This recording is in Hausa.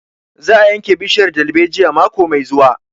Za a yanke bishiyar dalbejiyar mako mai zuwa